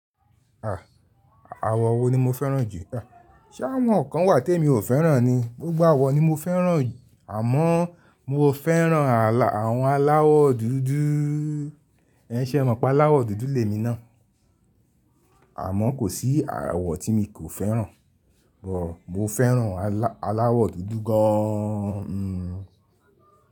Àh, àwọ̀ wo ni mo fẹ́ràn jù? Ẹ̀, ṣe awọn nkan wà tí èmi ò fẹ́ràn ni, gbogbo àwọ̀ ni mo fẹ́ràn àmọ́ọ mo fẹ́ràn al, àwọn aláwọ̀ dúdú. Ẹń ṣẹ mọ̀ pé aláwọ̀ dúdú le mi ná. Àmọ́ kò sí àwọ̀ tí mi kò fẹ́ràn, sugbọn mo fẹ́ràn aláwọ̀ dúdú gáán ni.